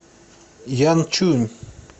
янчунь